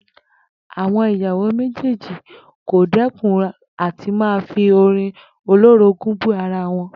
Àwo̩n ìyàwó méjèèjì kò dé̩kun à ti máa fi orin olórogún bú ara wo̩n